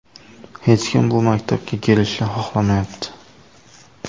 Hech kim bu maktabga kelishni xohlamayapti.